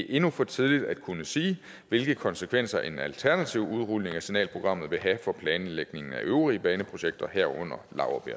endnu for tidligt at kunne sige hvilke konsekvenser en alternativ udrulning af signalprogrammet vil have for planlægningen af øvrige baneprojekter herunder